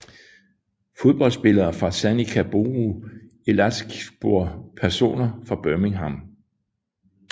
Fodboldspillere fra Sanica Boru Elazığspor Personer fra Birmingham